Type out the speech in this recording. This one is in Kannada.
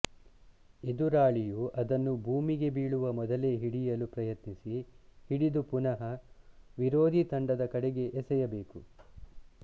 ಎದುರಾಳಿಯು ಅದನ್ನು ಭೂಮಿಗೆ ಬೀಳುವ ಮೊದಲೇ ಹಿಡಿಯಲು ಪ್ರಯತ್ನಿಸಿ ಹಿಡಿದು ಪುನಃ ವಿರೋಧಿ ತಂಡದ ಕಡೆಗೆ ಎಸೆಯಬೇಕು